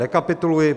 Rekapituluji: